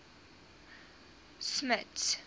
smuts